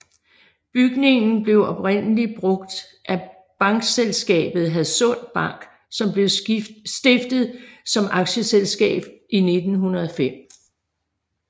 Bygningen blev oprindeligt brugt af bankselskabet Hadsund Bank som blev stiftet som aktieselskab i 1905